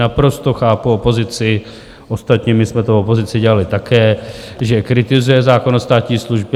Naprosto chápu opozici, ostatně my jsme to v opozici dělali také, že kritizuje zákon o státní službě.